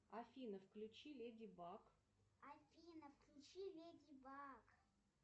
афина включи леди баг